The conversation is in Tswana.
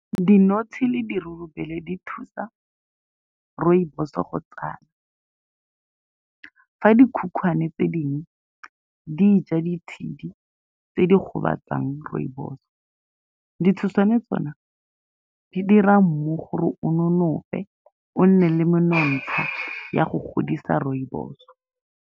Dinotshe le dirurubele di thusa rooibos-so go , fa di khukhwana tse dingwe di ja ditshedi tse di gobatsang rooibos-so. Ditshoswane tsone di dira mmu gore o nonofe, o nne le menontsha ya go godisa rooibos-so.